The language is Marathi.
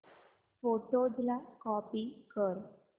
फोटोझ ला कॉपी कर